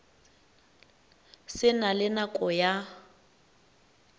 se na le nako ya